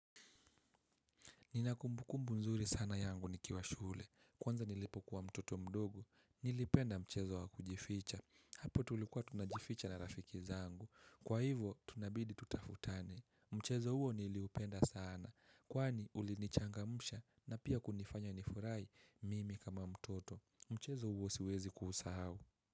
Nina kumbukumbu mzuri sana yangu nikiwa shule. Kwanza nilipokuwa mtoto mdogo. Nilipenda mchezo wakujificha. Hapo tulikuwa tunajificha na rafiki zangu. Kwa hivo tunabidi tutafutane. Mchezo huo niliupenda sana. Kwani ulinichangamsha na pia kunifanya nifurai mimi kama mtoto. Mchezo huo siwezi kuusau.